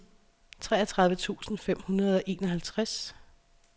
treogtredive tusind fem hundrede og enoghalvtreds